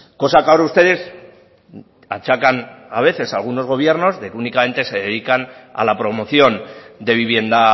cosa que ahora ustedes achacan a veces a algunos gobiernos que únicamente se dedican a la promoción de vivienda